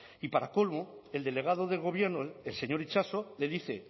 y para colmo el delegado del gobierno el señor itxaso le dice